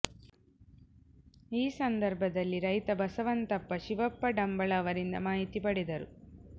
ಈ ಸಂದರ್ಭದಲ್ಲಿ ರೈತ ಬಸವಂತಪ್ಪ ಶಿವಪ್ಪ ಡಂಬಳ ಅವರಿಂದ ಮಾಹಿತಿ ಪಡೆದರು